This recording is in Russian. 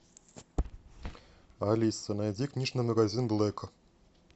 алиса найди книжный магазин блэка